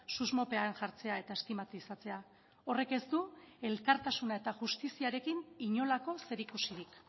susmopean jartzea eta estimatizatzea horrek ez du elkartasuna eta justiziarekin inolako zerikusirik